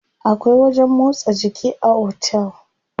Akwai wajen motsa jiki a otel.